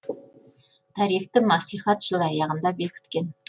тарифті мәслихат жыл аяғында бекіткен